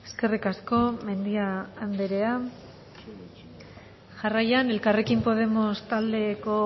eskerrik asko mendia anderea jarraian elkarrekin podemos taldeko